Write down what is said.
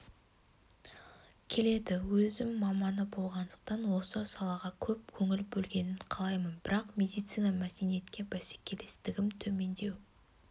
келеді өзім маманы болғандықтан осы салаға көп көңіл бөлінгенін қалаймын бірақ медицина мәдениетке бәсекелестігім төмендеу